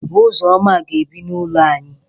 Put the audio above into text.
Ụzọma ga-ebi n'ụlọ ànyị.